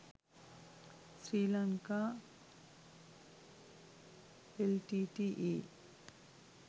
sri lanka l t t e